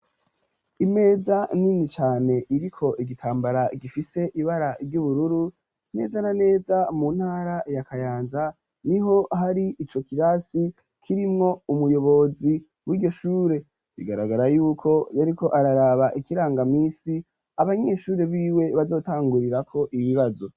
Imeza nini cane, iriko igitambara, gifise ibara ry'ubururu, neza na neza, mu ntara ya Kayanza, niho hari ico kirasi, kirimwo umuyobozi w'iryo shure; bigaragara y'uko, yariko araraba, ikirangaminsi, abanyeshuri biwe, bazotangurirako, ibibazo.